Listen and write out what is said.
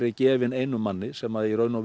gefin einu manni sem